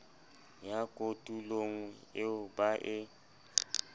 ya kotulo eo ba e